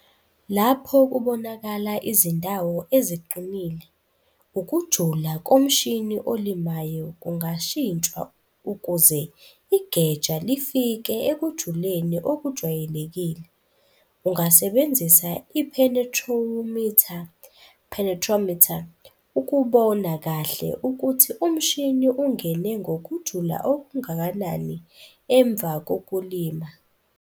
Lapho kubonakala izindawo eziqinile, ukujula komshini olimayo kungashintshwa ukuze igeja lifike ekujuleni okujwayelekile. Ungasebenzisa ipenethrowumitha, penetrometer, ukubona kahle ukuthi umshini ungene ngokujula okungakanani emva kokulima.